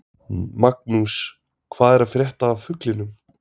Magnús: Hvað er að frétta af fuglinum?